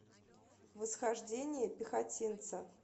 восхождение пехотинца